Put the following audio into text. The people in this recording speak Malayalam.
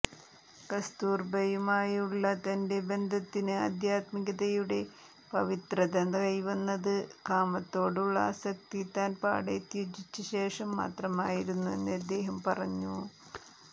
കസ്തൂർബയുമായുള്ള തന്റെ ബന്ധത്തിന് ആധ്യാത്മികതയുടെ പവിത്രത കൈവന്നത് കാമത്തോടുള്ള ആസക്തി താൻ പാടെ ത്യജിച്ച ശേഷം മാത്രമായിരുന്നു എന്നദ്ദേഹം പറഞ്ഞു